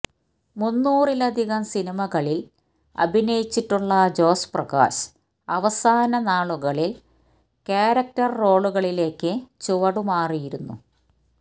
മുന്നൂറിലധികം സിനിമകളില് അഭിനയിച്ചിട്ടുള്ള ജോസ് പ്രകാശ് അവസാന നാളുകളില് ക്യാരക്ടര് റോളുകളിലേക്ക് ചുവടുമാറിയിരുന്നു